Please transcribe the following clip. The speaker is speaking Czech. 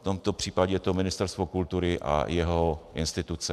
V tomto případě je to Ministerstvo kultury a jeho instituce.